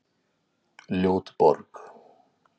Ljót borg